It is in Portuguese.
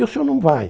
E o senhor não vai.